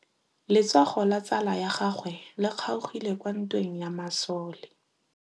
Letsôgô la tsala ya gagwe le kgaogile kwa ntweng ya masole.